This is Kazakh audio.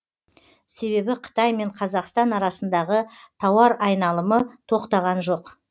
себебі қытай мен қазақстан арасындағы тауар айналымы тоқтаған жоқ